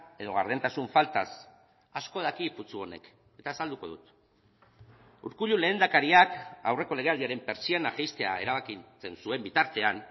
edo gardentasun faltaz asko daki putzu honek eta azalduko dut urkullu lehendakariak aurreko legealdiaren pertsiana jaistea erabakitzen zuen bitartean